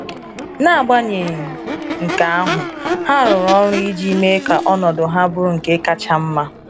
N’agbaghenyị nke ahụ, ha rụrụ ọrụ iji mee ka ọnọdụ ha bụrụ nke kacha mma.